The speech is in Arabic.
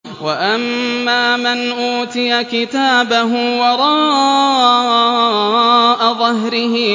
وَأَمَّا مَنْ أُوتِيَ كِتَابَهُ وَرَاءَ ظَهْرِهِ